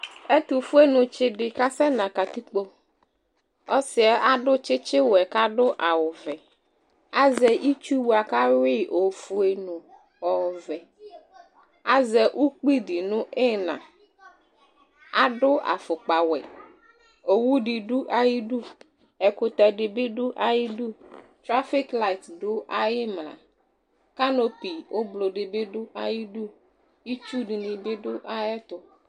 Ɛtʋfuenɩ tsɩ dɩ kasɛnz katikpo Ɔsɩ yɛ adʋ tsɩtsɩwɛ kʋ adʋ awʋvɛ Azɛ itsu bʋa kʋ ayʋɩ ofue nʋ ɔvɛ Azɛ ukpi dɩ nʋ ɩɣɩna Adʋ afʋkpawɛ Owu dɩ dʋ ayɩdu Ɛkʋtɛ dɩ bɩ dʋ ayɩdu Trafiklayɩt dʋ ayʋ ɩmla Kanopi ʋblɔ dɩ bɩ dʋ ayɩdu Itsu dɩnɩ bɩ dʋ ayɛtʋ